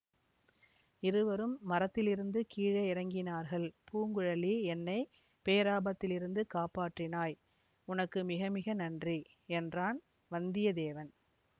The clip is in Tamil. இருவரும் மரத்திலிருந்து கீழே இறங்கினார்கள் பூங்குழலி என்னை பேராபத்திலிருந்து காப்பாற்றினாய் உனக்கு மிக மிக நன்றி என்றான் வந்தியத்தேவன்